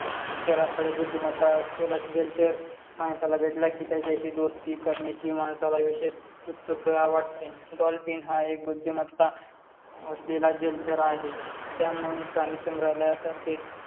चराचर बुद्धिमत्ता असलेला जलचर माणसाला भेटला की त्याच्याशी दोस्ती करण्याची माणसाला विशेस उत्सुकता वाटते. डॉल्फिन हा एक बुद्धिमत्ता असलेला जलचर आहे. त्यामुळे प्राणीसांगरल्यातर्फे